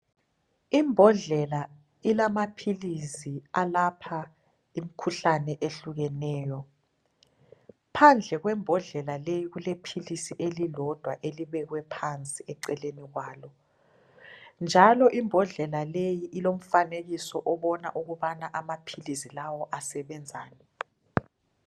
Imbodlela ilamaphilisi alapha imkhuhlane ehlukeneyo. Phandle kwembodlela leyi kulephilisi elilodwa elibekwe phansi eceleni kwalo njalo imbodlela leyi ilomfanekiso obona ukubana amaphilisi lawa asebenzani.